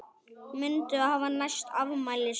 Muntu hafa næsta afmæli svipað?